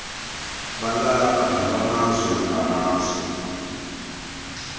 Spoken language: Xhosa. balapha nobamazwe ngamazwe